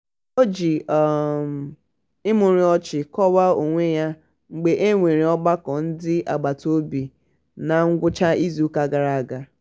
o um ji imurimu ọchị kọwaa onwe ya mgbe e nwere ọgbakọ ndị agbataobi na ngwụcha izuụka gara aga.